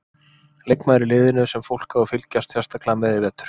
Leikmaður í liðinu sem fólk á að fylgjast sérstaklega með í vetur?